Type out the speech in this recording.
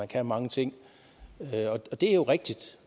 kan mange ting og det er jo rigtigt